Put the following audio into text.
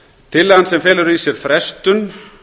tillagan sem felur í sér frestun